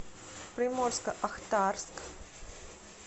приморско ахтарск